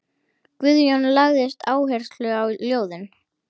Guðjón lagði áherslu á ljóðin.